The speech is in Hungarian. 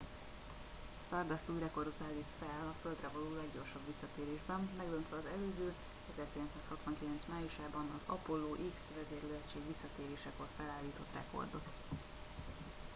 a stardust új rekordot állít fel a földre való leggyorsabb visszatérésben megdöntve az előző 1969 májusában az apollo x vezérlőegység visszatérésekor felállított rekordot